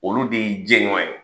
Olu de y'i jɛɲɔɔn ye.